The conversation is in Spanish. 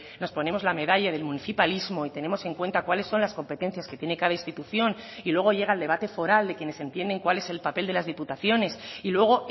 nos ponemos la medalla del municipalismo y tenemos en cuenta cuáles son las competencias que tiene cada institución y luego llega el debate foral de quienes entienden cuál es el papel de las diputaciones y luego